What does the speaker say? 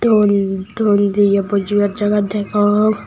ton ton diye bojibar jagah degong.